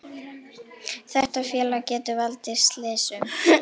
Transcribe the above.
Þetta félag getur valdið slysum,